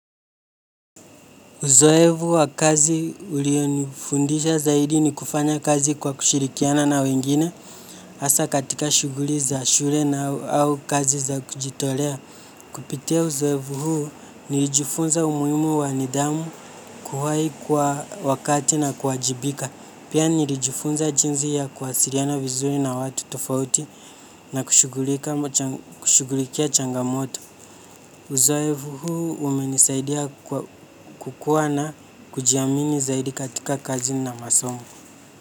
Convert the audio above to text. Uzoevu wa kazi ulionifundisha zaidi ni kufanya kazi kwa kushirikiana na wengine hasa katika shuguli za shure na au kazi za kujitolea. Kupitia uzoevu huu nilijifunza umuhimu wa nidhamu kuhai kwa wakati na kuwajibika. Pia nilijifunza jinzi ya kuwasiriana vizuri na watu tufauti na kushugulikia changamoto. Uzoevu huu umenisaidia kukuwa na kujiamini zaidi katika kazi na masomo.